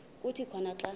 kuthi khona xa